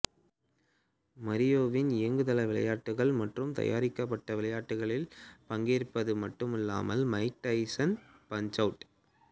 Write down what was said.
மரியோவின் இயங்குதள விளையாட்டுகள் மற்றும் தயாரிக்கப்பட்டவிளையாட்டுகளில் பங்கேற்றது மட்டுமில்லாமல் மைக் டைசன்ஸ் பன்ச்அவுட்